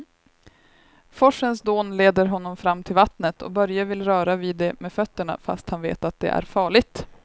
Forsens dån leder honom fram till vattnet och Börje vill röra vid det med fötterna, fast han vet att det är farligt.